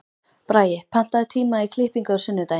Bragi, pantaðu tíma í klippingu á sunnudaginn.